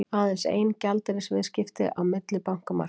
Aðeins ein gjaldeyrisviðskipti á millibankamarkaði